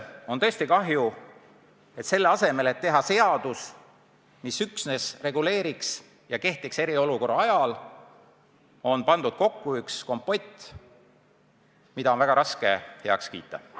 On tõesti kahju, et selle asemel, et teha seadus, mis üksnes reguleeriks ja kehtiks eriolukorra ajal, on kokku pandud kompott, mida on väga raske heaks kiita.